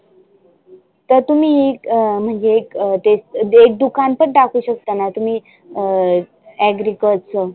तर तुम्ही म्हणजे एक अं ते एक दुकान पण टाकु शकताना तुम्ही अं agriculture च.